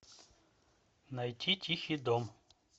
найти тихий дом